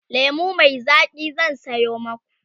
lemu Mai Zaki zan Sayo maku